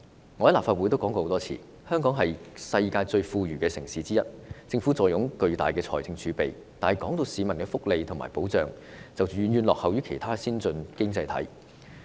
我在立法會曾多次表示，香港是世界上其中一個最富裕的城市，政府坐擁龐大的財政儲備，但市民的福利和保障卻遠遠落後於其他先進經濟體。